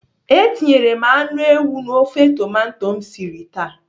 Etinyere m anụ ewu na ofe tomato m siri taa.